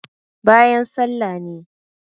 bayan sallah ne